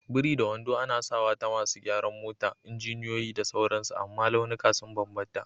biri da wando, ana sawa ta masu gyaran mota, injiniyoyi, da sauransu amma launuka sun bambanta.